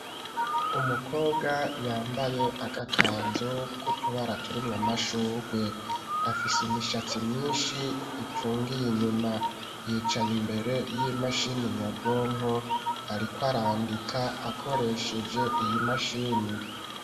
Umukobwa yambaye agakanzu kutubara turimwo amashurwe afise imishatsi myinshi ipfungiye inyuma yicaye imbere y'imashini nyabwonko ariko arandika akoresheje iyimashini.